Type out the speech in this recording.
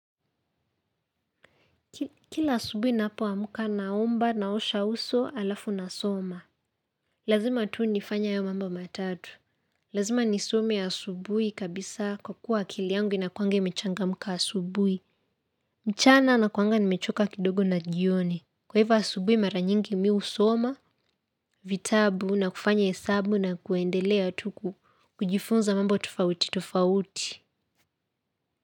Kila asubuhi ninapoamka naomba naosha uso alafu nasoma. Lazima tu nifanye hayo mambo matatu. Lazima nisome ya asubuhi kabisa kwa kuwa akili yangu inakuanga imechangamka asubuhi. Mchana nakuanga nimechoka kidogo na jioni. Kwa hivo asubuhi mara nyingi mi husoma, vitabu na kufanya hesabu na kuendelea tu kujifunza mambo tofauti tofauti.